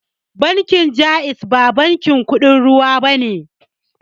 Bankin jaiz ba bankin kuɗin ruwa bane